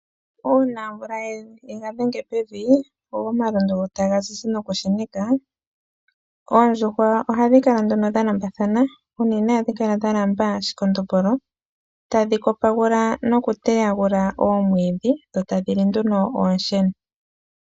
Uuna omvula ye ga dhenge pevi, go omalundu taga zizi nokusheneka, oondjuhwa ohadhi kala nduno dha lambathana. Unene ohadhi kala dha lamba shikondombolo, tadhi kopagula nokuteyagula oomwiidhi, dho tadhi li nduno oonsheno.